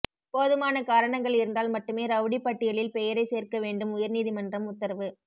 போதுமான காரணங்கள் இருந்தால் மட்டுமே ரெளடிப் பட்டியலில் பெயரைச் சோ்க்க வேண்டும்உயா்நீதிமன்றம் உத்தரவு